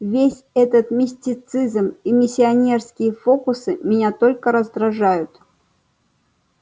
весь этот мистицизм и миссионерские фокусы меня только раздражают